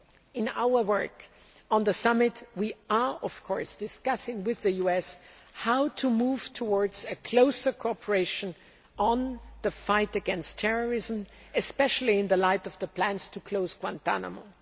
In our work on the summit, we are discussing with the US how to move towards closer cooperation in the fight against terrorism, especially in the light of the plans to close Guantánamo.